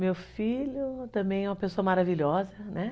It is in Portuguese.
Meu filho também é uma pessoa maravilhosa, né?